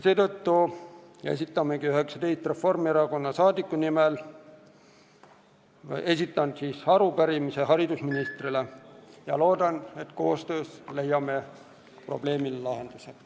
Seetõttu esitangi 19 Reformierakonna saadiku nimel arupärimise haridusministrile ja loodan, et koostöös leiame probleemile lahenduse.